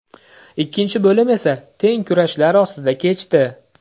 Ikkinchi bo‘lim esa teng kurashlar ostida kechdi.